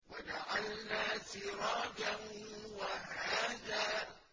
وَجَعَلْنَا سِرَاجًا وَهَّاجًا